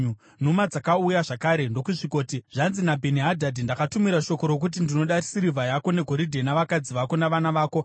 Nhumwa dzakauya zvakare ndokusvikoti, “Zvanzi naBheni-Hadhadhi, ‘Ndakatumira shoko rokuti ndinoda sirivha yako negoridhe, navakadzi vako navana vako.